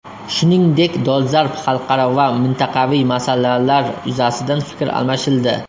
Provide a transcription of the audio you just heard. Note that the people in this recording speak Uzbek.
Shuningdek, dolzarb xalqaro va mintaqaviy masalalar yuzasidan fikr almashildi.